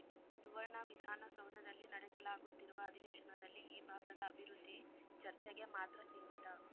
ಸುವರ್ಣ ವಿಧಾನಸೌಧದಲ್ಲಿ ನಡೆಸಲಾಗುತ್ತಿರುವ ಅಧಿವೇಶನದಲ್ಲಿ ಈ ಭಾಗದ ಅಭಿವೃದ್ಧಿ ಚರ್ಚೆಗೆ ಮಾತ್ರ ಸೀಮಿತ